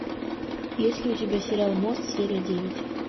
есть ли у тебя сериал мост серия девять